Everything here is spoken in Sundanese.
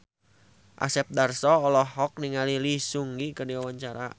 Asep Darso olohok ningali Lee Seung Gi keur diwawancara